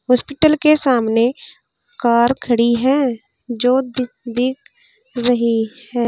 Hospital के सामने car खड़ी है जो दिख दिख रही है।